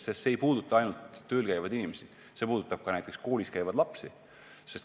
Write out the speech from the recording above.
See ei puuduta ainult tööl käivaid inimesi, vaid see puudutab ka näiteks koolis käivaid lapsi.